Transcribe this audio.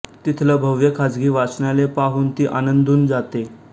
तिथलं भव्य खाजगी वाचनालय पाहून ती आनंदून जाते